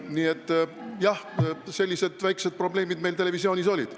Nii et jah, sellised väiksed probleemid meil televisioonis olid.